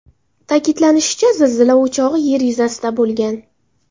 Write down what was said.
Ta’kidlanishicha, zilzila o‘chog‘i Yer yuzasida bo‘lgan.